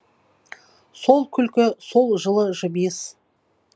сол күлкі сол жылы жымиыс